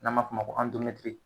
N'an ma f'o ma ko